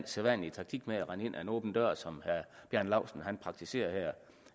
sædvanlige taktik med at rende ind ad en åben dør som herre bjarne laustsen praktiserer her jeg